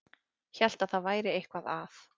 Hélt að eitthvað væri að.